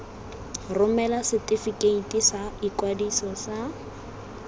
romela setefikeiti sa ikwadiso sa